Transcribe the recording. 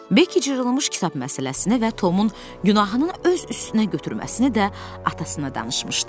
Beki cırılmış kitab məsələsini və Tomun günahının öz üstünə götürməsini də atasına danışmışdı.